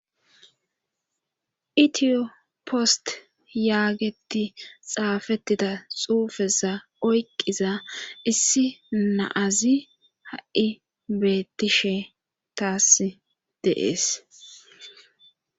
Itiyo post yaageti xaafettida xuufeza oyqiza issi naazi ha7i beettishe taas deees.